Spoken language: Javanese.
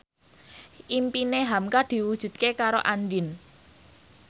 impine hamka diwujudke karo Andien